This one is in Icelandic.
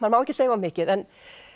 má ekki segja of mikið en